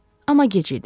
Amma gec idi.